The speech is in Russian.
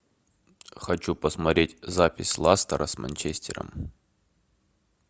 хочу посмотреть запись лестера с манчестером